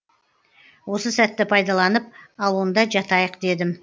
осы сәтті пайдаланып ал онда жатайық дедім